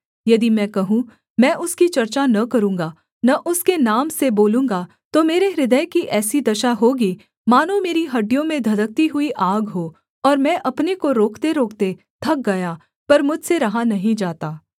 यदि मैं कहूँ मैं उसकी चर्चा न करूँगा न उसके नाम से बोलूँगा तो मेरे हृदय की ऐसी दशा होगी मानो मेरी हड्डियों में धधकती हुई आग हो और मैं अपने को रोकतेरोकते थक गया पर मुझसे रहा नहीं जाता